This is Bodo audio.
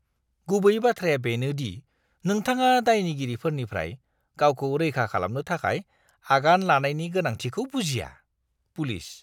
गुबै बाथ्राया बेनो दि नोंथाङा दायनिगिरिफोरनिफ्राय गावखौ रैखा खालामनो थाखाय आगान लानायनि गोनांथिखौ बुजिया। (पुलिस)